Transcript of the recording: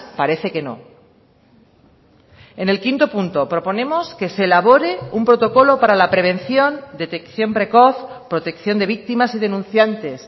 parece que no en el quinto punto proponemos que se elabore un protocolo para la prevención detección precoz protección de víctimas y denunciantes